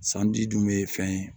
Sanji dun be fɛn ye